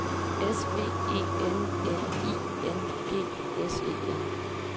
S V E N N I N G S E N